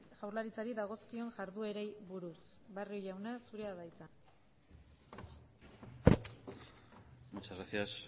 jaurlaritzari dagozkion jarduerei buruz barrio jauna zurea da hitza muchas gracias